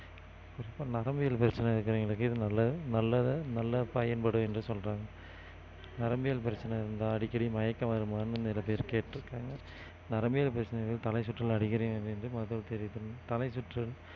இப்ப நரம்பியல் பிரச்சனை இருக்கிறவங்களுக்கு இது நல்லது நல்லத~ நல்லா பயன்படும் என்று சொல்றாங்க நரம்பியல் பிரச்சனை இருந்தா அடிக்கடி மயக்கம் வருமான்னு நிறைய பேர் கேட்டிருக்காங்க நரம்பியல் பிரச்சனைகள் தலைசுற்றல் அடிக்கடி மருத்துவர் தெரிவித்தனர் தலைசுற்றல்